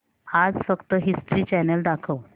आज फक्त History Channel दाखव